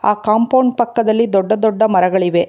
ಆ ಕಾಂಪೌಂಡ್ ಪಕ್ಕದಲ್ಲಿ ದೊಡ್ಡ ದೊಡ್ಡ ಮರಗಳಿವೆ.